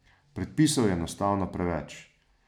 Predpisov je enostavno preveč.